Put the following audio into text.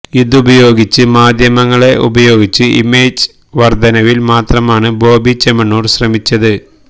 ഇതുപയോഗിച്ച് മാധ്യമങ്ങളെ ഉപയോഗിച്ച് ഇമേജ് വർദ്ധനവിൽ മാത്രമാണ് ബോബി ചെമ്മണ്ണൂർ ശ്രമിച്ചത്